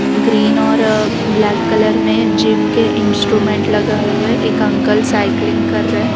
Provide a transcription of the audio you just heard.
Green और black colour में gym के इंस्ट्रूमेंट लगाए हुए एक अंकल साइक्लिंग कर रहे हैं।